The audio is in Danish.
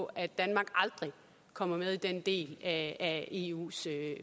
at danmark aldrig kommer med i den del af eus